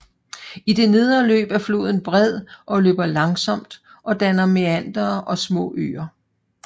I det nedre løb er floden bred og løber langsomt og danner meandere og små øer